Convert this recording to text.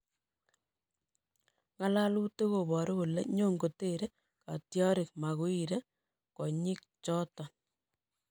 Nga'alalutik kobaru kole nyon kotere katyarik Maguire konyiik choton